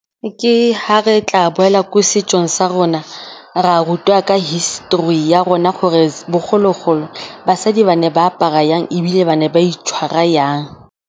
Ke fa re tla boela ko setsong sa rona, ra rutwa ka history ya rona gore bogologolo basadi ba ne ba apara jang ebile ba ne ba itshwara jang.